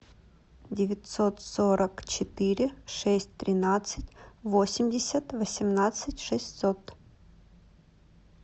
девятьсот сорок четыре шесть тринадцать восемьдесят восемнадцать шестьсот